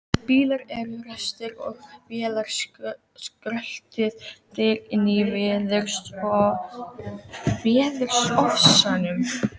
Bílar eru ræstir og vélarskröltið deyr inní veðurofsanum.